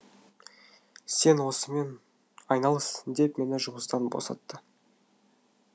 сен осымен айналыс деп мені жұмыстан босатты